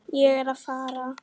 Ég er að fara.